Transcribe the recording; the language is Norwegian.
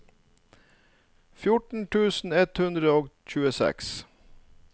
fjorten tusen ett hundre og tjueseks